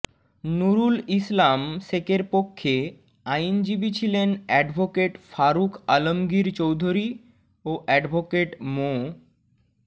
নুরুল ইসলাম শেখের পক্ষে আইনজীবী ছিলেন অ্যাডভোকেট ফারুক আলমগীর চৌধুরী ও অ্যাডভোকেট মো